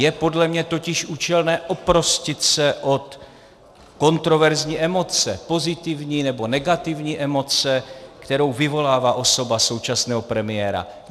Je podle mě totiž účelné oprostit se od kontroverzní emoce, pozitivní nebo negativní emoce, kterou vyvolává osoba současného premiéra.